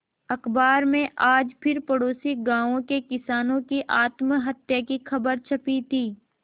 अखबार में आज फिर पड़ोसी गांवों के किसानों की आत्महत्या की खबर छपी थी